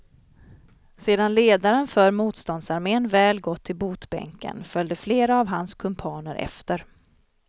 Sedan ledaren för motståndsarmén väl gått till botbänken följde flera av hans kumpaner efter.